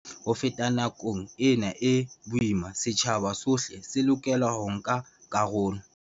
Ho feta nakong ena e boima, setjhaba sohle se lokela ho nka karolo.